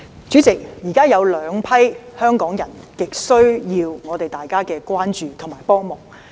主席，現時有兩批香港人極需要大家的關注和幫忙。